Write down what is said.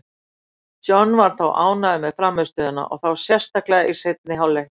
John var þó ánægður með frammistöðuna, og þá sérstaklega í seinni hálfleiknum.